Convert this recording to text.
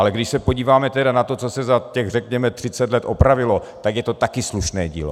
Ale když se podíváme tedy na to, co se za těch řekněme 30 let opravilo, tak je to taky slušné dílo.